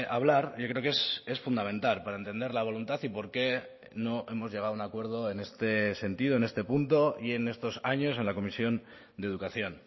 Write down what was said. hablar yo creo que es fundamental para entender la voluntad y por qué no hemos llegado a un acuerdo en este sentido en este punto y en estos años en la comisión de educación